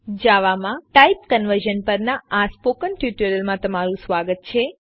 જાવામાં type conversion પરના spoken ટ્યુટોરીયલમાં તમારું સ્વાગત છે